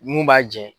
Mun b'a jɛ